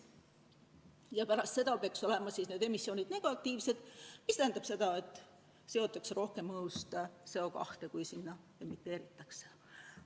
Ja pärast seda peaks olema emissioonid negatiivsed, mis tähendab seda, et õhust seotakse CO2 rohkem, kui sinna emiteeritakse.